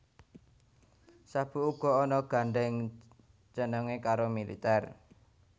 Sabuk uga ana gandheng cenenge karo militer